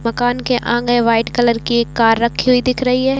मकान के आगे वाइट कलर की एक कार रखी हुई दिख रही है।